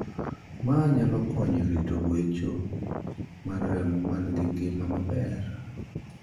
Maa nyalo konyo rito gwecho mar remo man gi ngima maber.